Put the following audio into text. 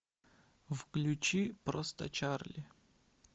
включи просто чарли